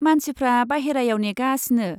मानसिफ्रा बायहेरायाव नेगासिनो।